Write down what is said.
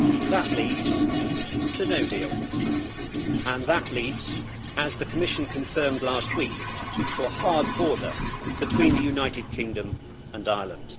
That leads to no deal, and that leads, as the Commission confirmed last week, to a hard border between the United Kingdom and Ireland.